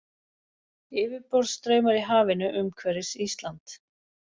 Yfirborðsstraumar í hafinu umhverfis Ísland.